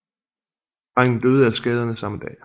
Drengen døde af skaderne samme dag